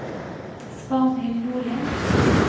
Svanhild Nordli